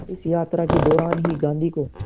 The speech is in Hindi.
इस यात्रा के दौरान ही गांधी को